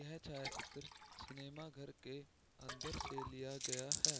यह चलचित्र सिनेमा घर के अंदर से लिया गया है।